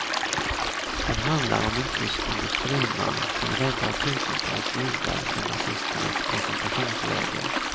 Den handlar om en tysk industriman som räddar tusentals judar från nazisternas koncentrationsläger.